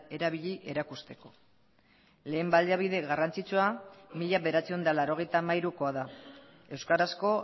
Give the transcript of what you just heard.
erabili erakusteko lehen baliabide garrantzitsua mila bederatziehun eta laurogeita hamairukoa da euskarazko